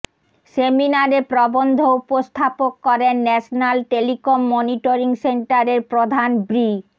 সেমিনারে প্রবন্ধ উপস্থাপক করেন ন্যাশনাল টেলিকম মনিটরিং সেন্টারের প্রধান ব্রি